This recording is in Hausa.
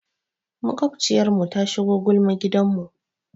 Maƙwabciyarmu ta shigo gulma gidanmu.